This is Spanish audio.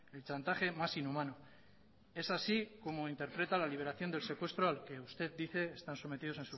el chantaje más inhumano es así como interpreta la liberación del secuestro al que usted dice están sometidos